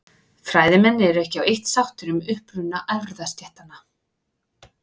Fræðimenn eru ekki á eitt sáttir um uppruna erfðastéttanna.